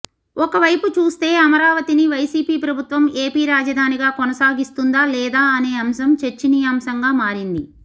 ఒక వైపు చూస్తే అమరావతిని వైసీపీ ప్రభుత్వం ఏపీ రాజధానిగా కొనసాగిస్తుందా లేదా అనే అంశం చర్చనీయాంశంగా మారింది